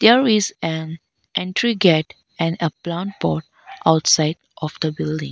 there is an entry gate and a plant pot outside of the building